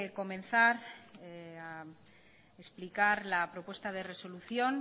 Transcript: comenzar a explicar la propuesta de resolución